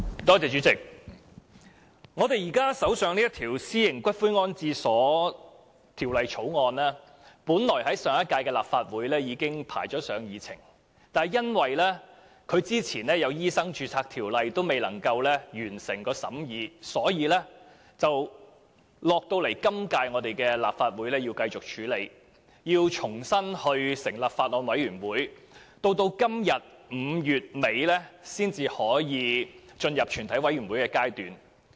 主席，現時在我們手上的這項《私營骨灰安置所條例草案》本來在上屆立法會已編排在議程上，但由於在它之前有一項《2016年醫生註冊條例草案》未能完成審議，故此須留待今屆立法會繼續處理，並須重新成立法案委員會，直至今天接近5月底，才可以進入全體委員會審議階段。